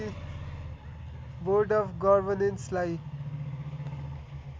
board of गर्वनेन्सलाई